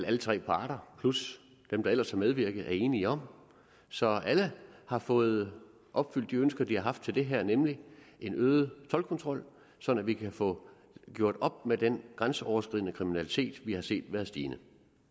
alle tre parter plus dem der ellers har medvirket er enige om så alle har fået opfyldt de ønsker de har haft til det her nemlig en øget toldkontrol sådan at vi kan få gjort op med den grænseoverskridende kriminalitet vi har set være stigende